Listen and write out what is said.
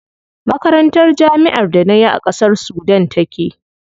Makarantar jami'ar da nayi a ƙasar Sudan take.